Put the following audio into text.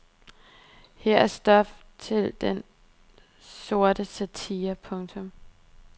Her er stof til den sorte satire. punktum